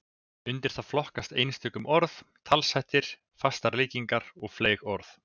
Undir það flokkast einkum orðtök, talshættir, fastar líkingar og fleyg orð.